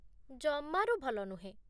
ଜମାରୁ ଭଲ ନୁହେଁ